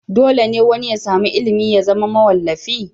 Dole ne wani ya sami ilimi ya zama mawallafi?